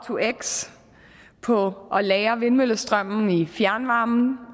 to x på at lagre vindmøllestrømmen i fjernvarmen